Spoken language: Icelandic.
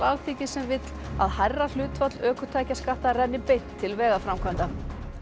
Alþingis sem vill að hærra hlutfall ökutækjaskatta renni beint til vegaframkvæmda